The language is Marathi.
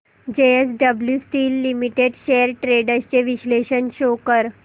JSW steel limited shares trends चे विश्लेषण शो कर